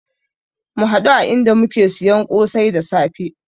Mu haɗu a inda muke siyan kosai da safe